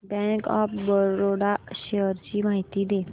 bank of Baroda shares ची माहिती दे